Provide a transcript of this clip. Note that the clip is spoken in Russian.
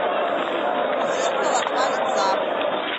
у зеркала два лица